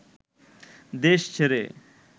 দেশ ছেড়ে